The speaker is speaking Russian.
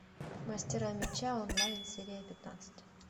мастера меча онлайн серия пятнадцать